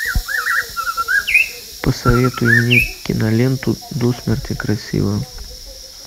посоветуй мне киноленту до смерти красива